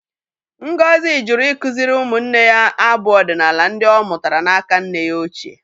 Ngozi jụrụ ikuziri umunne ya abụ ọdinala ndị ọ mụtara n'aka nne ya ochie.